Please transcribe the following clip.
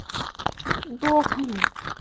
сдохни